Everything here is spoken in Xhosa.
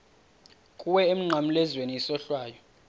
kuwe emnqamlezweni isohlwayo